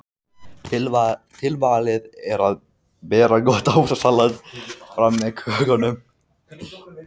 Tilvalið er að bera gott ávaxtasalat fram með kökunum.